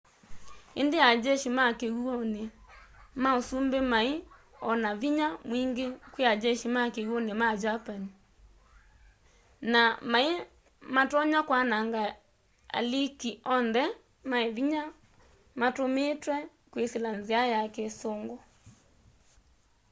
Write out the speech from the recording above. indi a jeshi ma kiw'uni ma usumbi mai o na vinya mwingi kwii ajeshi ma kiw'uni ma germany kriegsmarine” na mai matonya kwananga aliki onthe ma vinya matumitwe kwisila nzia ya kisungu